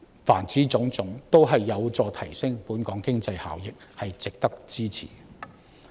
凡此種種都有助提升本港經濟效益，值得支持。